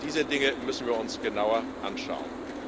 Auch diese Dinge müssen wir uns genauer anschauen.